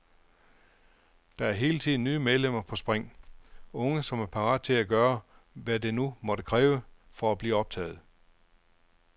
Der er hele tiden nye medlemmer på spring, unge som er parat til at gøre, hvad det nu måtte kræve, for at blive optaget.